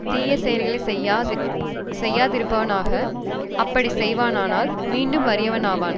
தீய செயல்களை செய்யா திருப்பானாக அப்படி செய்வானானால் மீண்டும் வறியவனாவான்